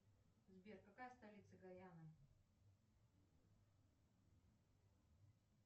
сбер какая столица гаяна